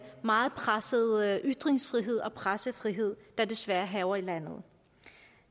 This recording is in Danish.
meget pressede ytringsfrihed og pressefrihed der desværre hærger i landet